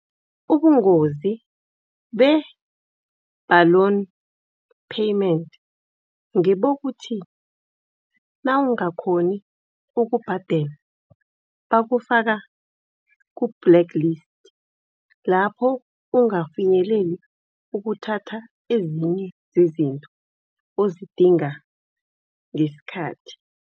Ubungozi be-balloon payment ngibokuthi nawungakghoni ukubhadela bukufaka ku-blacklist. Lapho ungafinyeleli ukuthatha ezinye zezinto ozidinga ngesikhathi.